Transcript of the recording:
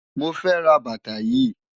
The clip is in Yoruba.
Mo fe ra bàtà yìí.